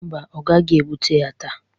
Mba, ọ gaghi ebute ya taa.